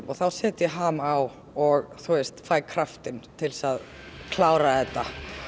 þá set ég ham á og fæ kraftinn til þess að klára þetta